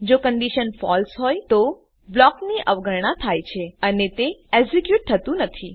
જો condition false હોય તો બ્લોકની અવગણનાં થાય છે અને તે એક્ઝેક્યુટ થતું નથી